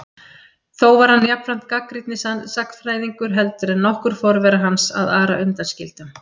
Þó var hann jafnframt gagnrýnni sagnfræðingur heldur en nokkur forvera hans, að Ara undan skildum.